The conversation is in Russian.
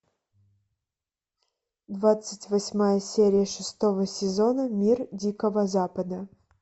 двадцать восьмая серия шестого сезона мир дикого запада